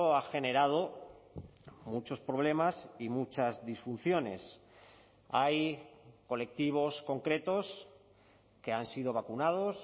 ha generado muchos problemas y muchas disfunciones hay colectivos concretos que han sido vacunados